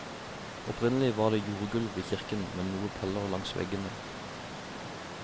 Opprinnelig var det jordgulv i kirken, med noen paller langs veggene.